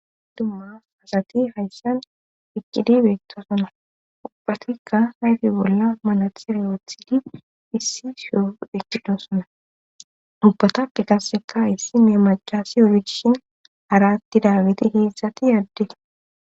Dummas asati hayssan ikkidi beetto suna ubbatikka hayti bolla manath riyoothidi issi shoufu ekidosona ubbatappe kasseka issi meemacasi orijishin aratti daaweti heedzdzati adde